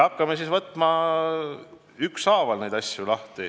Hakkame siis neid asju ükshaaval lahti võtma.